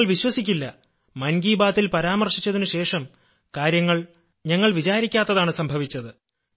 താങ്കൾ വിശ്വസിക്കില്ല മൻ കീ ബാത്തിൽ പരാമർശിച്ചതിനുശേഷം കാര്യങ്ങൾ ഞങ്ങൾ വിചാരിക്കാത്തതാണ് സംഭവിച്ചത്